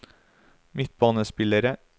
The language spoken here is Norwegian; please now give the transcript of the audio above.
midtbanespillere